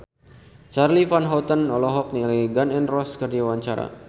Charly Van Houten olohok ningali Gun N Roses keur diwawancara